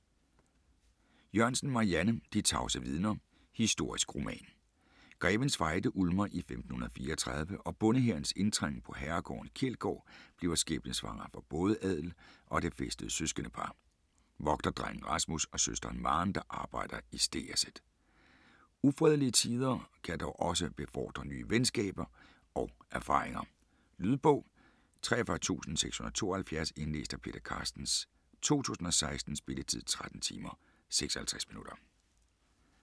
Jørgensen, Marianne: De tavse vidner: historisk roman Grevens Fejde ulmer i 1534, og bondehærens indtrængen på herregården Kjeldgaard bliver skæbnesvanger for både adel og det fæstede søskendepar: vogterdrengen Rasmus og søsteren Maren der arbejder i stegerset. Ufredelige tider kan dog også befordre nye venskaber og erfaringer. Lydbog 43672 Indlæst af Peter Carstens, 2016. Spilletid: 13 timer, 56 minutter.